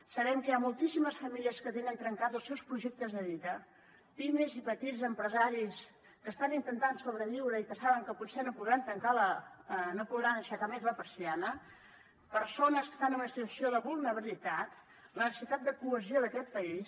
sabem que hi ha moltíssimes famílies que tenen trencats els seus projectes de vida pimes i petits empresaris que estan intentant sobreviure i que saben que potser no podran aixecar més la persiana persones que estan en una situació de vulnerabilitat la necessitat de cohesió d’aquest país